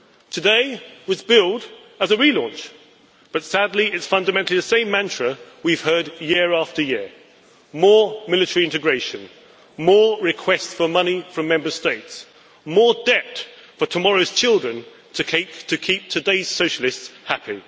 Today was billed as a relaunch, but sadly it is fundamentally the same mantra we have heard year after year more military integration, more requests for money from Member States, more debt for tomorrow's children to keep today's socialists happy.